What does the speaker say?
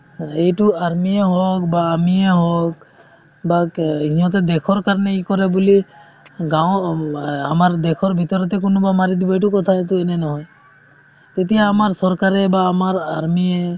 মানে এইটো army য়ে হওক বা আমিয়ে হওক বা কে সিহঁতে দেশৰ কাৰণে কৰে বুলি গাৱ অ আমাৰ দেশৰ ভিতৰতে কোনোবা মাৰি দিব এইটো কথা এইটো এনে নহয় তেতিয়া আমাৰ চৰকাৰে বা আমাৰ army য়ে